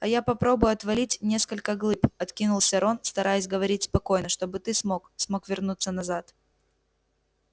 а я попробую отвалить несколько глыб откинулся рон стараясь говорить спокойно чтобы ты смог смог вернуться назад